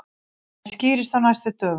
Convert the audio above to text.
Það skýrist á næstu dögum.